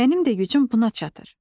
Mənim də gücüm buna çatır.